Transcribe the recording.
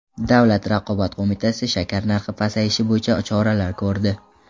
Davlat raqobat qo‘mitasi shakar narxi pasayishi bo‘yicha choralar ko‘rdi.